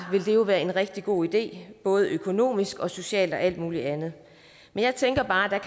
være en rigtig god idé både økonomisk og socialt og alt muligt andet men jeg tænker bare